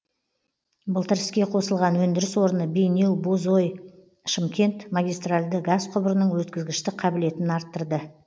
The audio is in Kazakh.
былтыр іске қосылған өндіріс орны бейнеу бозой шымкент магистральды газ құбырының өткізгіштік қабілетін арттырды